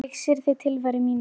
Ég syrgði tilveru mína.